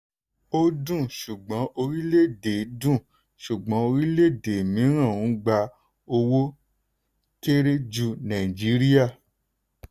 ó dùn ṣùgbọ́n orílẹ̀-èdè dùn ṣùgbọ́n orílẹ̀-èdè mìíràn ń gba owó kéré ju nàìjíríà.